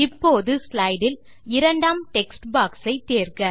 இப்போது ஸ்லைடு இல் இரண்டாம் டெக்ஸ்ட் பாக்ஸ் ஐ தேர்க